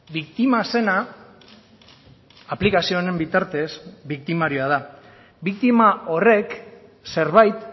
biktima zena aplikazio honen bitartez biktimarioa da biktima horrek zerbait